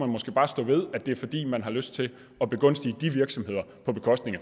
måske bare stå ved at det er fordi man har lyst til at begunstige de virksomheder på bekostning